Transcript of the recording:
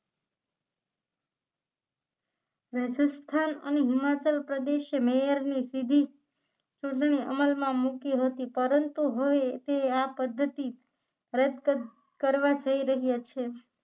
રાજસ્થાન અને હિમાચલ પ્રદેશે મેયરની સીધી ચૂંટણી અમલમાં મૂકી હતી પરંતુ હોય તે આ પદ્ધતિ રદ કર કરવા જઈ રહ્યા છે